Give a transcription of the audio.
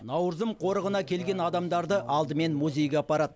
наурызым қорығына келген адамдарды алдымен музейге апарады